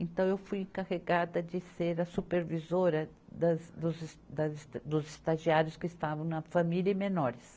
Então, eu fui encarregada de ser a supervisora das, dos es, das es, dos estagiários que estavam na família e menores.